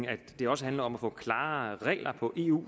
at det også handler om at få klarere regler på eu